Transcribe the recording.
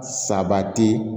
Sabati